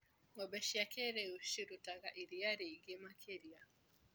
Ngombe cia kĩrĩũ cirutaga iria rĩingĩ makĩria.